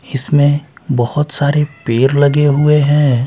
इसमें बहुत सारे पेर लगे हुए हैं।